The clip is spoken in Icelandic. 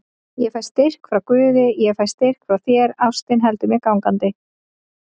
Ég fæ styrk frá guði, ég fæ styrk frá þér, ástin heldur mér gangandi.